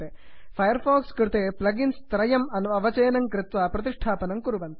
fire fox कृते plugins त्रयम् अवचित्य संस्थापयन्तु